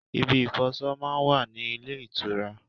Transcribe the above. Ibi ìfọṣọ máa ń wà ní ilé ìtura